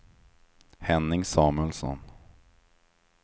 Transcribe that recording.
Henning Samuelsson